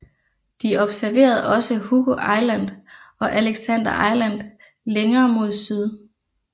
De observerede også Hugo Island og Alexander Island længere mod syd